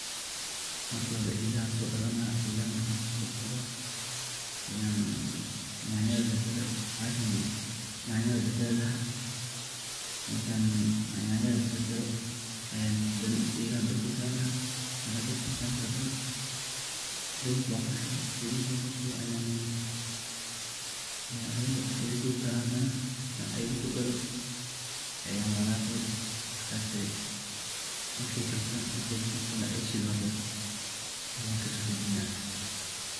Marka hore elaha sodhaqani laha .elaha markan soo dhaqdo ayaan yanyada jarjari laha, markan yanyada jarjaro ayaa hadane elahaa dabka sari laha ,elaha marakan dabka sarto saliid ban kushuwa ,saliid markan kushowo ayaan ethaa kujar Jara hadana marka etha kudaro ayan walaqii markasii ,markay shilmato aya kasodajinaa.